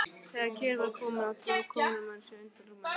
Þegar kyrrð var komin á tróð komumaður sér undan rúminu.